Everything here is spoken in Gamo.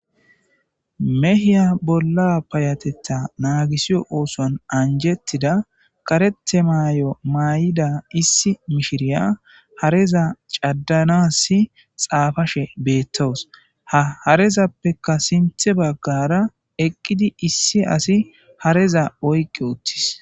Mehiya bolla payatetha naagisiyo ooson anjettida karete maay7o maay7ida issi mishiriya hareza caddanasi xaafashe beettoos ha harezappeka sinthe baggara eqqidi issi asi hareza oyqi uttis.